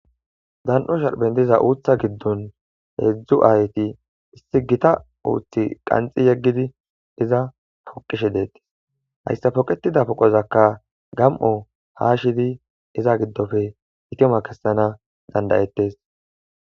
Zan'o sharbendiza uutha giddon heedzdzu aayti issi gita uuthi qanxi yeggidi iza poqishe deettes hayssa poqetida poqozakka gam'o haa shidi iza giddofe itima kessana dandayettes.